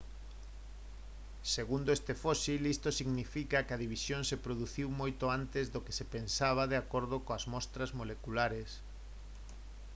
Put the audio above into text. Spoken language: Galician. «segundo este fósil isto significa que a división se produciu moito antes do que se pensaba de acordo coas mostras moleculares